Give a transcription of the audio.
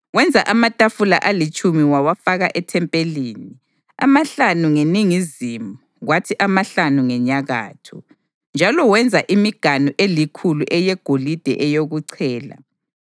Wenza amatafula alitshumi wawafaka ethempelini, amahlanu ngeningizimu kwathi amahlanu ngenyakatho. Njalo wenza imiganu elikhulu eyegolide eyokuchela.